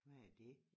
Hvad er dét